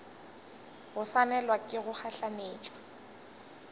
go swanelwa ke go gahlanetšwa